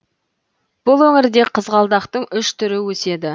бұл өңірде қызғалдақтың үш түрі өседі